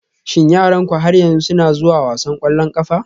Shin yaranku har yanzu suna zuwa wasan ƙwallon ƙafa?